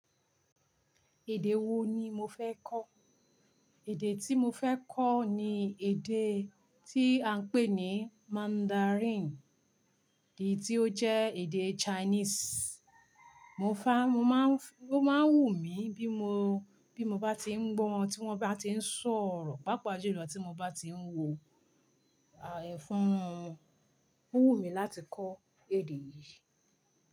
Èdè wo ni mo fẹ́ kọ́? Èdè tí mo fẹ́ kọ́ ni èdè tí à ń pè ní Mandarin, èdè tí ó jẹ́ èdè Chinese. Mo fá, mo máa ń fú, ó máa ń wù mí bí mo, bí mo bá ti ń gbọ́ wọn, tí wọ́n bá ti ń sọ̀rọ̀, pàápàá jùlọ tí mo bá ti ń wo ẹ̀fún wọn, ó wù mí láti kọ́ èdè yìí.